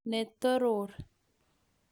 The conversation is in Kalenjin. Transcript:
Ne toror.